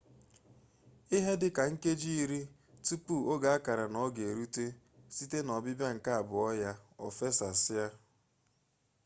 ihe dịka nkeji iri tupu oge a kara n'ọga erute site n'ọbịbịa nke abụọ ya o fesasịa